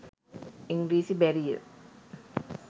ඉංග්‍රීසි බැරිය